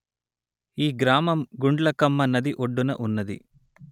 ఈ గ్రామం గుండ్లకమ్మ నది ఒడ్డున ఉన్నది